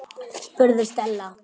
spurði Stella.